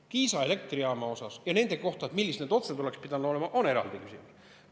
Kiisa elektrijaama kohta ja selle kohta, millised need otsused oleksid pidanud olema, on eraldi küsimus.